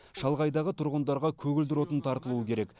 шалғайдағы тұрғындарға көгілдір отын тартылуы керек